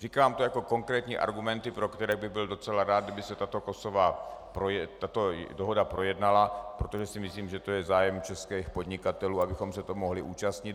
Říkám to jako konkrétní argumenty, pro které bych byl docela rád, kdyby se tato dohoda projednala, protože si myslím, že to je zájem českých podnikatelů, abychom se toho mohli účastnit.